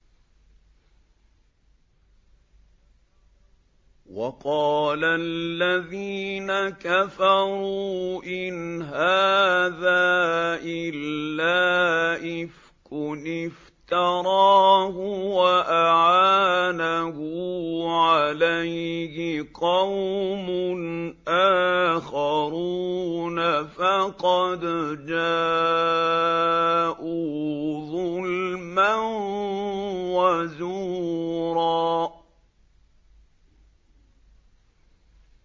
وَقَالَ الَّذِينَ كَفَرُوا إِنْ هَٰذَا إِلَّا إِفْكٌ افْتَرَاهُ وَأَعَانَهُ عَلَيْهِ قَوْمٌ آخَرُونَ ۖ فَقَدْ جَاءُوا ظُلْمًا وَزُورًا